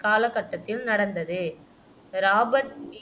காலகட்டத்தில் நடந்தது Robert B